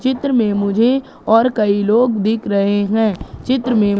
चित्र में मुझे और कई लोग दिख रहे हैं चित्र में--